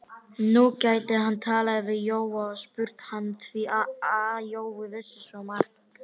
Nú gæti hann talað við Jóa og spurt hann, því að Jói vissi svo margt.